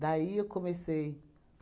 Daí, eu comecei.